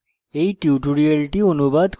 এই টিউটোরিয়ালটি অনুবাদ করেছি